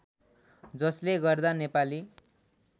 जसले गर्दा नेपाली